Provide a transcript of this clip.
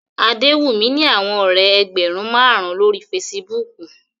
Adewumi ni awọn ọrẹ ẹgbẹrun marun lori Fèsìbúukù